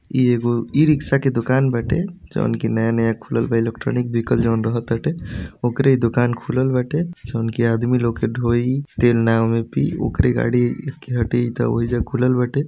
ई एगो ई-रिक्शा के दुकान बाटे। जॉन की नया-नया खुलल बा। इलेक्ट्रॉनिक विहीकल जॉन रहत ताटे। ऑकरे दुकान खुलल बाटे। जॉन की आदमी लोग के ढोई तेल ना ओमे पी ऑकरे गाड़ी के खुलल बाटे।